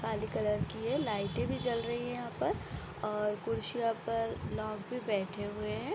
काली colour की ये लाइटें भी जल रही है यहाँ पर और कुर्सियों पर लोग भी बैठे हुए हैं।